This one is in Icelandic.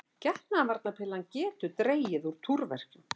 Getnaðarvarnarpillan getur dregið úr túrverkjum.